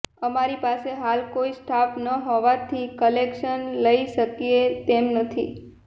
અમારી પાસે હાલ કોઇ સ્ટાફ ન હોવાથી કલેક્શન લઇ શકીએ તેમ નથી